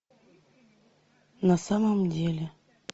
на самом деле